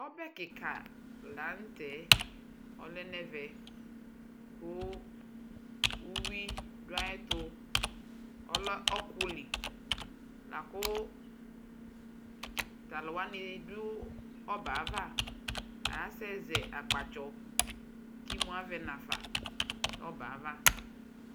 Ɔbɛ kika la nʋ tɛ kʋ ɔlɛ nʋ ɛvɛ kʋ uwi dʋ ayʋ ɛtu Ɔlɛ ɔkʋli la kʋ talʋwani bi dʋ ɔbɛ yɛ ava, asɛzɛ ampatsɔ kʋ amʋ avɛnafa nʋ ɔbɛ yɛ ava